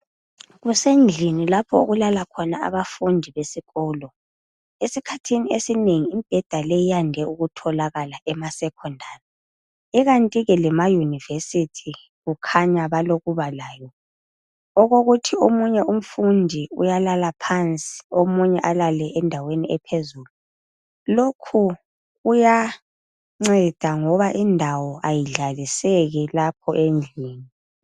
Kusendlini lapho okulala khona abafundi besikolo esikhathini esinengi imibheda leyi iyande ukutholakala emaSecondary ikanti ke lemaUniversity kukhanya balokuba layo okokuthi omunye umfundi uyalala phansi omunye alale endaweni ephezulu lokhu kuyanceda ngoba indawo ayidlaliseki lapho endlini